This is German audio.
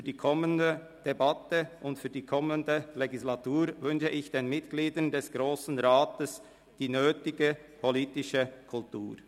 Für die kommenden Debatte und die kommende Legislatur wünsche ich den Mitgliedern des Grossen Rates die nötige politische Kultur.